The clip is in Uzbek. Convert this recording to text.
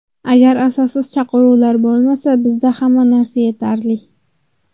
Agar asossiz chaqiruvlar bo‘lmasa, bizda hamma narsa yetarli.